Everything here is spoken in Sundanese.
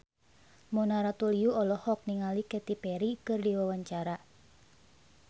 Mona Ratuliu olohok ningali Katy Perry keur diwawancara